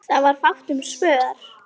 Það var fátt um svör.